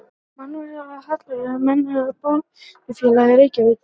Mannfækkun af hallærum, Almenna bókafélagið, Reykjavík